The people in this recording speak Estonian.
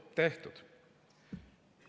Tehtud!